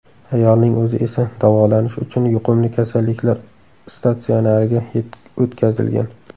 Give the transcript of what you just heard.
Ayolning o‘zi esa davolanish uchun yuqumli kasalliklar statsionariga o‘tkazilgan.